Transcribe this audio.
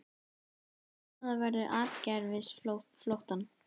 Stöðva verður atgervisflóttann